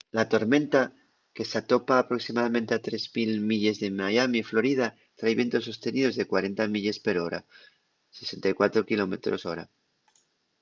la tormenta que s’atopa aproximadamente a 3.000 milles de miami florida trai vientos sosteníos de 40 milles per hora 64 km/h